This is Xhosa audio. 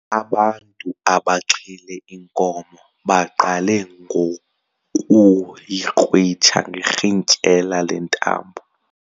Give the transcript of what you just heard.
Abantu abaxhele inkomo baqale ngokuyikrwitsha ngerhintyela lentambo.